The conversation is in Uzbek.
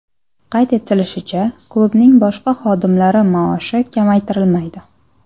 Qayd etilishicha, klubning boshqa xodimlari maoshi kamaytirilmaydi.